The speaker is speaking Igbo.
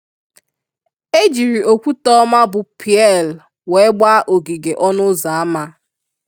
Ejiri okwute oma bu pieeel wee gbaa ogige ọnụ ụzọ ama.